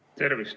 Tervist!